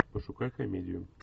пошукай комедию